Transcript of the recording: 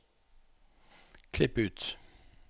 Klipp ut